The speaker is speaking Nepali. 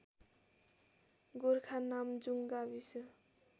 गोरखा नामजुङ गाविस